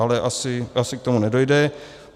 Ale asi k tomu nedojde.